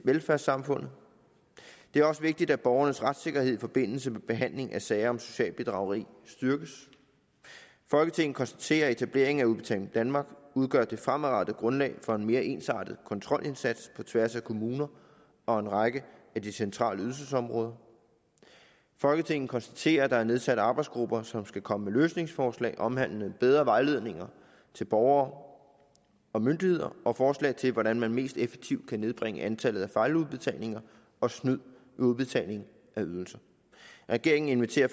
velfærdssamfundet det er også vigtigt at borgernes retssikkerhed i forbindelse med behandling af sager om socialt bedrageri styrkes folketinget konstaterer at etableringen af udbetaling danmark udgør det fremadrettede grundlag for en mere ensartet kontrolindsats på tværs af kommuner og en række af de centrale ydelsesområder folketinget konstaterer at der er nedsat arbejdsgrupper som skal komme med løsningsforslag omhandlende bedre vejledninger til borgere og myndigheder og forslag til hvordan man mest effektivt kan nedbringe antallet af fejludbetalinger og snyd ved udbetalingen af ydelser regeringen inviterer